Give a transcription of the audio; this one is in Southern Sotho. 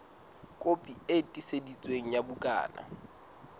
kopi e tiiseditsweng ya bukana